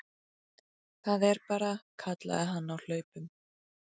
Það er bara, kallaði hann á hlaupunum.